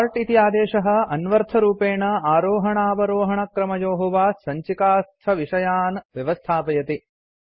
sort इति आदेशः अन्वर्थरूपेण आरोहणावरोहणक्रमयोः वा सञ्चिकास्थविषयान् व्यवस्थापयति